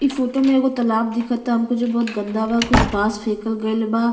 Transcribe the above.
इ फोटो में एगो तालाब दिखता हमको जो बहुत गन्दा बा। कुछ बांस फेकल गइल बा।